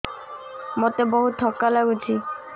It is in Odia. ମୋତେ ବହୁତ୍ ଥକା ଲାଗୁଛି